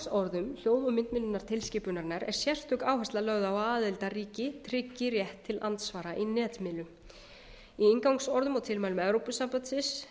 inngangsorðum hljóð og myndmiðlunartilskipunarinnar er sérstök áhersla lögð á að aðildarríki tryggi rétt til andsvara í netmiðlum í inngangsorðum og tilmælum evrópusambandsins